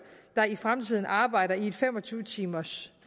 der i fremtiden arbejder i et fem og tyve timers